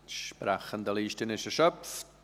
Die Sprechendenliste ist erschöpft.